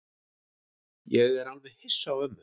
Ég er alveg hissa á ömmu.